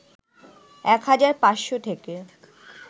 ১ হাজার ৫শ থেকে